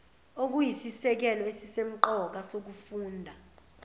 okuyisisekelo esisemqoka sokufunda